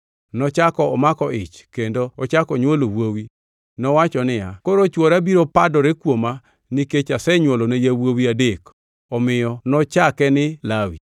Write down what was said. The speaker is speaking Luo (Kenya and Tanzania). Nochako omako ich, kendo ochako onywolo wuowi. Nowacho niya, “Koro chwora biro padore kuoma nikech asenywolone yawuowi adek.” Omiyo nochake ni Lawi. + 29:34 Lawi gi dho jo-Hibrania en gima oher.